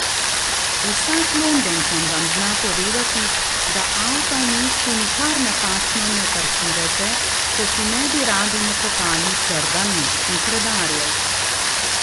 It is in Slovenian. Vsak Londončan vam zna povedati, da avta v mestu nikar napačno ne parkirajte, če si ne bi radi nakopali srda mestnih redarjev.